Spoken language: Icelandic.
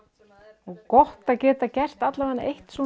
og gott að geta gert eitt